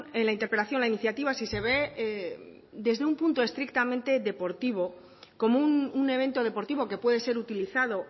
en la interpelación la iniciativa si se ve desde un punto de vista estrictamente deportivo como un evento deportivo que puede ser utilizado